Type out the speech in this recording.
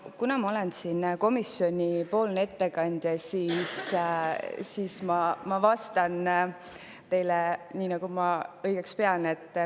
Kuna ma olen komisjonipoolne ettekandja, siis ma vastan teile nii, nagu ma õigeks pean.